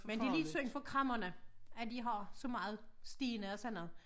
Men det lidt synd for kræmmerne at de har så meget sten og sådan noget